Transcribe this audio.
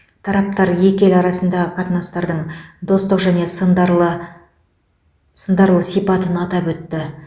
тараптар екі ел арасындағы қатынастардың достық және сындарлы сындарлы сипатын атап өтті